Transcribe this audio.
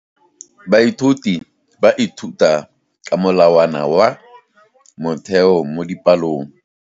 Baithuti ba ithuta ka molawana wa motheo mo dipalong.